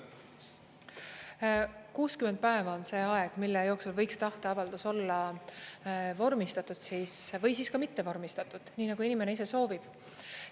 60 päeva on see aeg, mille jooksul võiks tahteavaldus olla vormistatud siis või siis ka mitte vormistatud, nii nagu inimene ise soovib.